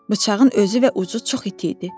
Bıçağın özü və ucu çox iti idi.